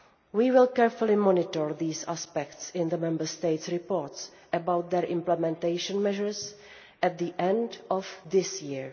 We will carefully monitor these aspects in the Member States' reports about their implementation measures at the end of this year.